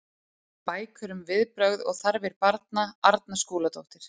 Bækur um viðbrögð og þarfir barna Arna Skúladóttir.